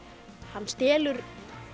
hann stelur